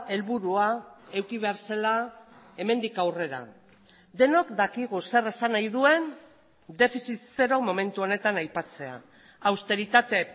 helburua eduki behar zela hemendik aurrera denok dakigu zer esan nahi duen defizit zero momentu honetan aipatzea austeritate